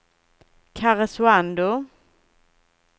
Karesuando